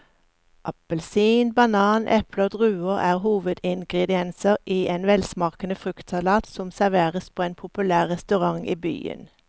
Appelsin, banan, eple og druer er hovedingredienser i en velsmakende fruktsalat som serveres på en populær restaurant i byen.